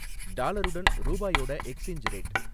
டாலருடன் ரூபாயோட exchange rate